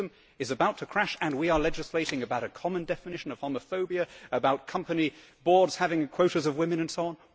The system is about to crash and we are legislating about a common definition, upon the phobia about company boards having quotas of women and so on.